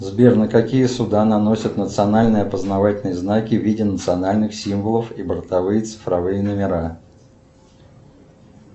сбер на какие суда наносят национальные опознавательные знаки в виде национальных символов и бортовые цифровые номера